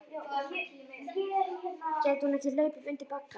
Gæti hún ekki hlaupið undir bagga?